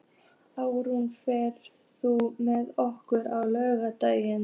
Árún, ferð þú með okkur á laugardaginn?